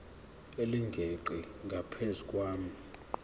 elingeqi ngaphezu kwenani